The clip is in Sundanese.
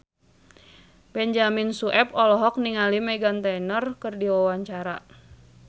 Benyamin Sueb olohok ningali Meghan Trainor keur diwawancara